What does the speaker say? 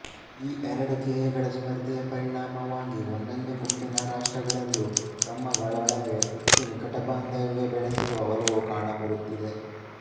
ಈ ಎರಡು ಧ್ಯೇಯಗಳ ಸ್ಪರ್ಧೆಯ ಪರಿಣಾಮವಾಗಿ ಒಂದೊಂದು ಗುಂಪಿನ ರಾಷ್ಟ್ರಗಳಲ್ಲೂ ತಮ್ಮಗಳೊಳಗೆ ಹೆಚ್ಚು ನಿಕಟಬಾಂಧವ್ಯ ಬೆಳೆಸುವ ಒಲವು ಕಾಣಬರುತ್ತಿದೆ